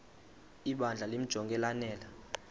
ibandla limjonge lanele